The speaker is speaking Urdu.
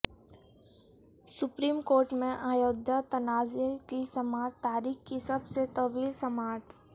سپریم کورٹ میں ایودھیا تنازعہ کی سماعت تاریخ کی سب سے طویل سماعت